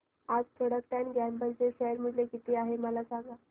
आज Procter and Gamble चे share मूल्य किती आहे मला सांगा